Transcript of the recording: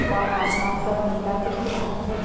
और आसमान सब नीला दिख रहा हैं।